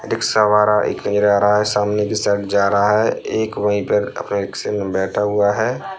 Rickshaw वाला एक आ रहा है सामने के साइड जा रहा है एक वही पर अपने रिक्से में बैठा हुआ है।